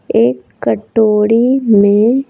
एक कटोरी में --